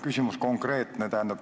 Küsimus on konkreetne.